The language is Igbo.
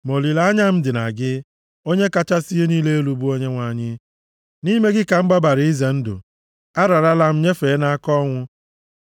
Ma olileanya m dị na gị, Onye kachasị ihe niile elu, bụ Onyenwe anyị nʼime gị ka m gbabara izere ndụ, ararala m nyefee nʼaka ọnwụ.